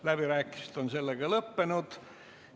Läbirääkimised on lõppenud.